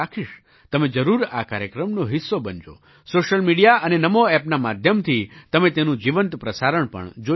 તમે જરૂર આ કાર્યક્રમનો હિસ્સો બનજોસૉશિયલ મિડિયા અને નમો ઍપના માધ્યમથી તમે તેનું જીવંત પ્રસારણ પણ જોઈ શકશો